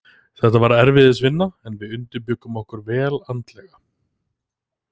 Þetta var erfiðisvinna, en við undirbjuggum okkur vel andlega.